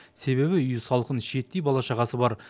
себебі үй салқын шиеттей бала шағасы бар